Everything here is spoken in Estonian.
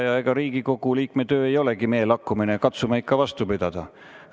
Ja ega Riigikogu liikme töö ei olegi meelakkumine, katsume ikka vastu pidada.